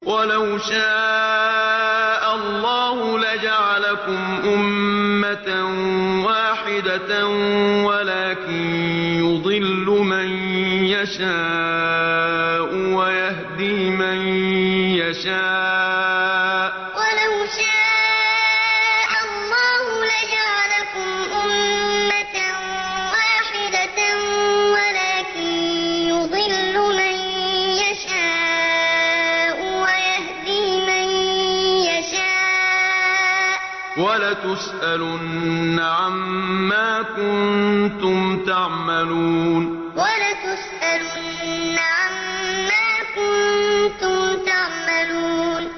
وَلَوْ شَاءَ اللَّهُ لَجَعَلَكُمْ أُمَّةً وَاحِدَةً وَلَٰكِن يُضِلُّ مَن يَشَاءُ وَيَهْدِي مَن يَشَاءُ ۚ وَلَتُسْأَلُنَّ عَمَّا كُنتُمْ تَعْمَلُونَ وَلَوْ شَاءَ اللَّهُ لَجَعَلَكُمْ أُمَّةً وَاحِدَةً وَلَٰكِن يُضِلُّ مَن يَشَاءُ وَيَهْدِي مَن يَشَاءُ ۚ وَلَتُسْأَلُنَّ عَمَّا كُنتُمْ تَعْمَلُونَ